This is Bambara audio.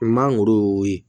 Mangoro ye